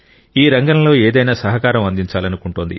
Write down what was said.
ఈ రంగంలో ఏదైనా సహకారం అందించాలనుకుంటోంది